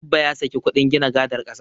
Abba ya saki kuɗin gina gadar ƙasa.